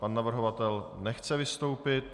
Pan navrhovatel nechce vystoupit.